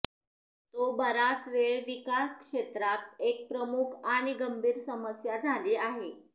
तो बराच वेळ विकास क्षेत्रात एक प्रमुख आणि गंभीर समस्या झाली आहे